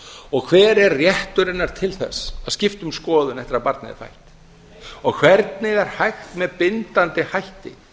og hver er réttur hennar til þess að skipta um skoðun eftir að barnið er fætt og hvernig er hægt með bindandi hætti